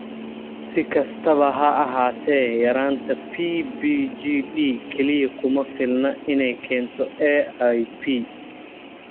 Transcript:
Si kastaba ha ahaatee, yaraanta PBGD kaliya kuma filna inay keento AIP.